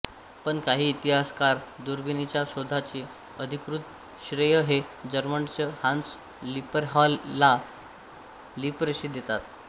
पण काही इतिहासकार दुर्बिणीच्या शोधाचे अधिकृत श्रेय हे जर्मनडच हान्स लिपरहॉयला लिपरशे देतात